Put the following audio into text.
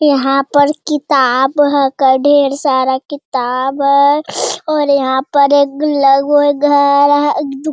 यहाँ पर किताब हेगा ढ़ेर सारा किताब है और यहाँ पर एक घर है एक दु --